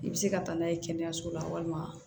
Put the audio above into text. I bɛ se ka taa n'a ye kɛnɛyaso la walima